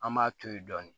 An b'a to yen dɔɔni